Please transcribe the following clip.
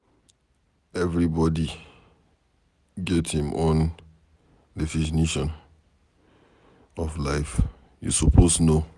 Everybody get im own definition of life, you suppose know.